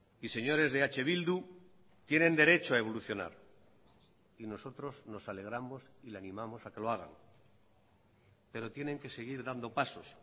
y señores de eh bildu tienen derecho a evolucionar y nosotros nos alegramos y le animamos a que lo hagan pero tienen que seguir dando pasos